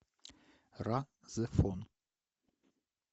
ра зефон